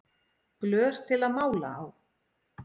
Glös til að mála á